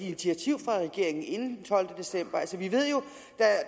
initiativ fra regeringen inden den tolvte december altså vi ved jo